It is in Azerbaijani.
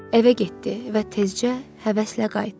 Evə getdi və tezcə həvəslə qayıtdı.